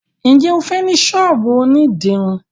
njé o fè ní sọ́ọ̀bù òní dirun.